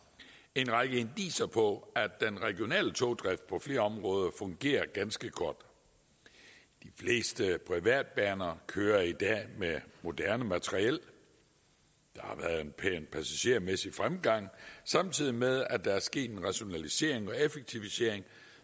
en række indicier på at den regionale togdrift på flere områder fungerer ganske godt de fleste privatbaner kører i dag med moderne materiel der har været en pæn passagermæssig fremgang samtidig med at der er sket en rationalisering og effektivisering